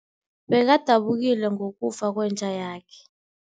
Bekadabukile ngokufa kwenja yakhe.